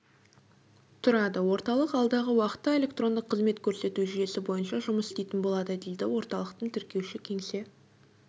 тұрады орталық алдағы уақытта электрондық қызмет көрсету жүйесі бойынша жұмыс істейтін болады дейді орталықтың тіркеуші-кеңсе